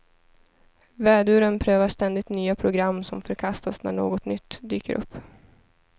Väduren prövar ständigt nya program som förkastas när något nytt dyker upp.